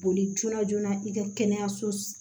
Boli joona joona i ka kɛnɛyaso